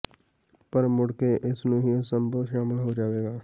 ਪਰ ਮੁੜ ਕੇ ਇਸ ਨੂੰ ਹੀ ਅਸੰਭਵ ਸ਼ਾਮਲ ਹੋ ਜਾਵੇਗਾ